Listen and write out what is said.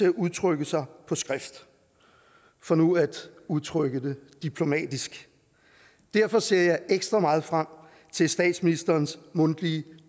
at udtrykke sig på skrift for nu at udtrykke det diplomatisk derfor ser jeg ekstra meget frem til statsministerens mundtlige